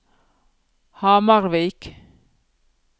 Hamarvik